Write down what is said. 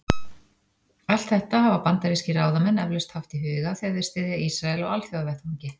Allt þetta hafa bandarískir ráðamenn eflaust haft í huga, þegar þeir styðja Ísrael á alþjóðavettvangi.